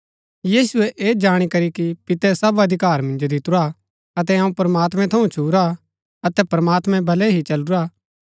यीशुऐ ऐह जाणी करी कि पितै सब अधिकार मिन्जो दितुरा अतै अऊँ प्रमात्मैं थऊँ छूरा अतै प्रमात्मैं बलै ही चलूरा हा